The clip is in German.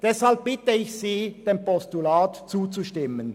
Deshalb bitte ich Sie, dem Postulat zuzustimmen.